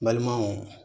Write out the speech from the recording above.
Balimanw